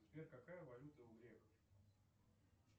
сбер какая валюта у греков